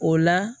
O la